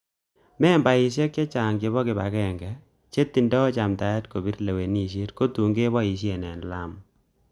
Membaek chechang chebo kibagenge, che tindo chamdaet kobir lewenisiet ko tun koboishie en Lamu.